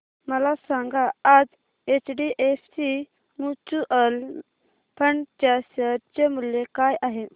मला सांगा आज एचडीएफसी म्यूचुअल फंड च्या शेअर चे मूल्य काय आहे